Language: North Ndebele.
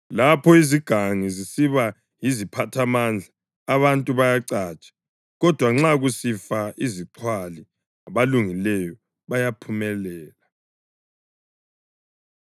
Lapho izigangi zisiba yiziphathamandla abantu bayacatsha; kodwa nxa kusifa izixhwali abalungileyo bayaphumelela.